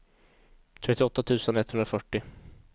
trettioåtta tusen etthundrafyrtio